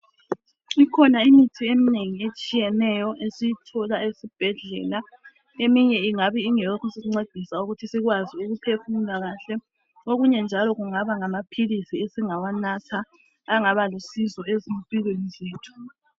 Ikhona imithi eminengi etshiyeneyo esiyithola esibhedlela. Eminye ingabe ingeyokusincedisa ukuthi sikwazi ukuphefumula kahle. Okunye njalo, kungaba ngamaphilisi esingawanatha. Angaba lusizo, ezimpilweni zethu.